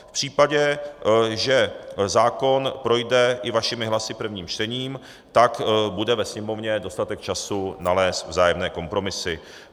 V případě, že zákon projde i vašimi hlasy prvním čtením, tak bude ve Sněmovně dostatek času nalézt vzájemné kompromisy.